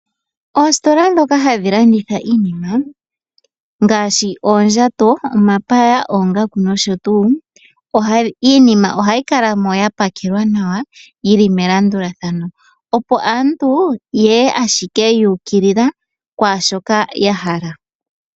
Oositola ndhoka hadhi landitha iinima ngaashi, oondjato, omapaya, oongaku nosho tuu. Iinima ohayi kala mo yapakelwa nawa yili melandulathano, opo aantu yeye ashike yuukilila kwaashoka yahala.